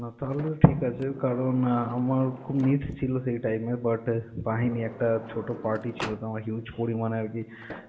না তাহলে ঠিক আছে কারণ আমার খুব need ছিল সেই time এ but পাইনি, একটা ছোট party ছিল আমার তো huge পরিমানে আর কি,